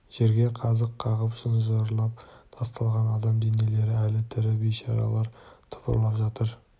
жерге қазық қағып шынжырлап тасталған адам денелері әлі тірі бейшаралар тыпырлап жатыр